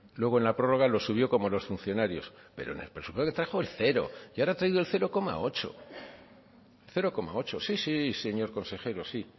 luego en la prórroga lo subió como los funcionarios pero en el presupuesto trajo el cero y ahora ha traído el cero coma ocho cero coma ocho sí sí señor consejero sí